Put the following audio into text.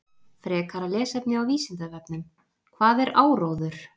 Frekara lesefni á Vísindavefnum: Hvað er áróður?